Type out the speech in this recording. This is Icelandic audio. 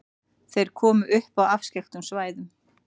Þeir komu upp á afskekktum svæðum.